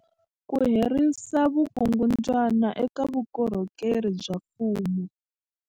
Ku herisa vukungundwani eka vukorhokeri bya mfumo